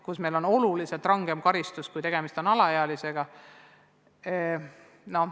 Karistused on oluliselt rangemad, kui tegemist on alaealistega.